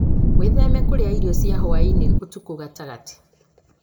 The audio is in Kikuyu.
Wĩtheme kũrĩa irio cia hwa-inĩ ũtukũ gatagatĩ.